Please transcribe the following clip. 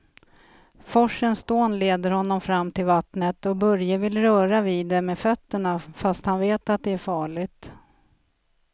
Forsens dån leder honom fram till vattnet och Börje vill röra vid det med fötterna, fast han vet att det är farligt.